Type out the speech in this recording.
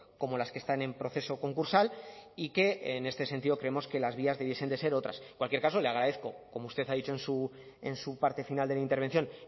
como las que están en proceso concursal y que en este sentido creemos que las vías debiesen ser otras en cualquier caso le agradezco como usted ha dicho en su parte final de la intervención